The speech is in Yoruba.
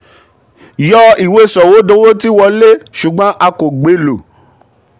yọ ìwé sọ̀wédowó tí wọlé ṣùgbọ́n a kò gbé lọ.